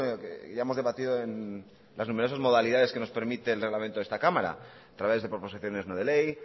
que ya hemos debatido en las numerosas modalidades que nos permite el reglamento de esta cámara a través de proposiciones no de ley